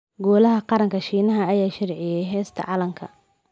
Golaha Qaranka Shiinaha ayaa sharciyeeyay heesta calanka